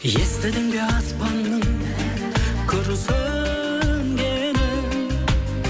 естідің бе аспанның күрсінгенін